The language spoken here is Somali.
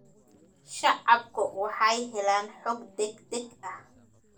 Shacabku waxay helaan xog degdeg ah.